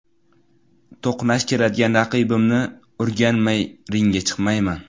To‘qnash keladigan raqibimni o‘rganmay ringga chiqmayman.